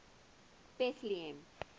betlehem